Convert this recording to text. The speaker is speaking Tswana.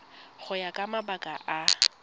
go ya ka mabaka a